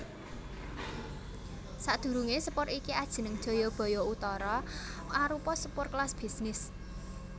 Sadurungé sepur iki ajeneng Jayabaya Utara arupa sepur kelas bisnis